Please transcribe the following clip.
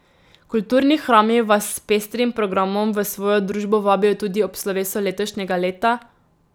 Kulturni hrami vas s pestrim programom v svojo družbo vabijo tudi ob slovesu letošnjega leta.